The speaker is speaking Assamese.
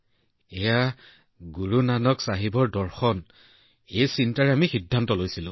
সৰ্বশক্তিমানে আমাক সাহস দিছিল গুৰু নানক চাহাবৰ দৰ্শনেই আমাক এই সিদ্ধান্তত পথ প্ৰদৰ্শন কৰিছিল